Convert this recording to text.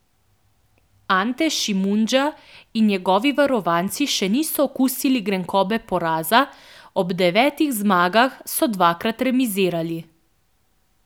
Ante Šimundža in njegovi varovanci še niso okusili grenkobe poraza, ob devetih zmagah so dvakrat remizirali.